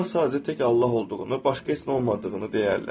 Onlar sadəcə tək Allah olduğunu, başqa heç nə olmadığını deyərlər.